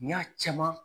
N y'a caman